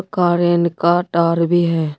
कारेंन का टार भी है।